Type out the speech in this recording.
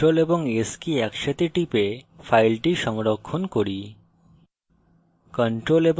এখন ctrl এবং s কি একসাথে টিপে file সংরক্ষণ করি